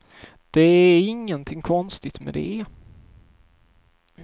Det är ingenting konstigt med det.